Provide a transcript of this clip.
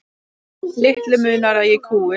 Litlu munar að ég kúgist.